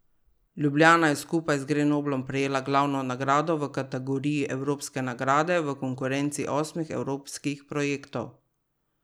Ljubljana je skupaj z Grenoblom prejela glavno nagrado v kategoriji evropske nagrade v konkurenci osmih evropskih projektov.